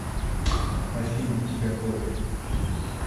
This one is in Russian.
афина у тебя кровь